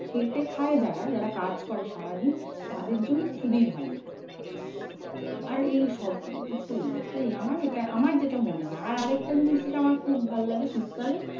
খেটে খায় যারা যারা কাজ করে সারাদিন তাদের জন্য খুবই ভালো। আর এই সব মুহূর্তে আমার যেটা মনে হয় আর একটা জিনিস যেটা আমার খুব ভাল লাগে শীতকালে?